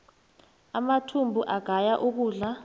amathumbu agaya ukudla